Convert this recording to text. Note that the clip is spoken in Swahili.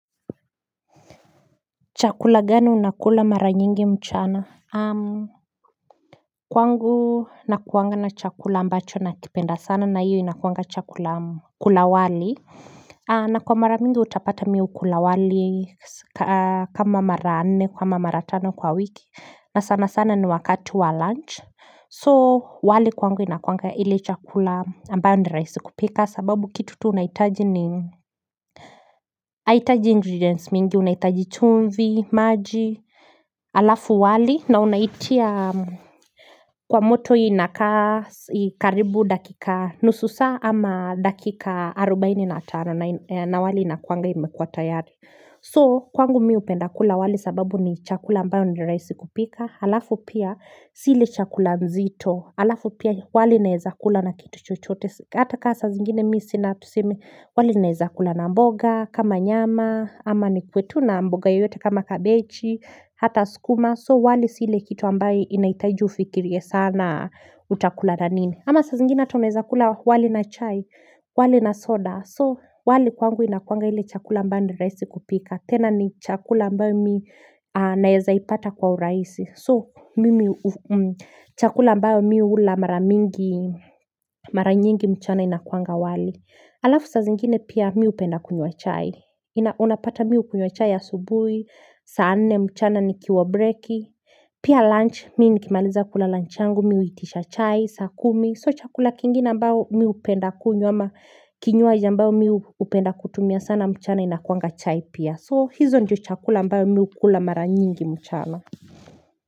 Chakula gani unakula mara nyingi mchana? Kwangu nakuwanga na chakula ambacho nakipenda sana na hiyo inakuwanga chakula kula wali na kwa mara mingi utapata mimi hukula wali kama mara nne ama mara tano kwa wiki na sana sana ni wakati wa lunch. So wali kwangu inakuwanga ile chakula ambayo rahisi kupika sababu kitu unaitaji ni haitaji ingredients mingi unahitaji chumvi, maji, alafu wali na hunaitia kwa moto inakaa karibu dakika nusu saa ama dakika arobaini na tano na wali inakuanga imekuwa tayari. So kwangu mimi hupenda kula wali sababu ni chakula ambayo ni rahisi kupika halafu pia sili chakula mzito halafu pia wali naeza kula na kitu chochote, hata saa zingine mimi sina tuseme wali naeza kula na mboga kama nyama ama nikuwe tu na mboga yoyote kama kabechi Hata sukuma so wali siile kitu ambayo inahitaju ufikiria sana utakula na nini ama saa zingine ata naeza kula wali na chai wali na soda. So wali kwangu inakuanga hile chakula ambayo ni rahisi kupika tena ni chakula mbao mimi naeza ipata kwa urahisi. So chakula ambao mimi hula mara nyingi mchana inakuanga wali Alafu sa zingine pia mimi hupenda kunywa chai Unapata mimi hukunywa chai asubuhi saa nne mchana nikiwa breki Pia lunch mimi nikimaliza kula lunch yangu mimi huitisha chai saa kumi so chakula kingine ambao mimi hupenda kunywa ama kinywaji ambao mimi hupenda kutumia sana mchana inakuanga chai pia. So hizo njiyo chakula ambao mimi hupenda kutumia sana mchana.